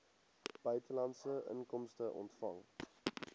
buitelandse inkomste ontvang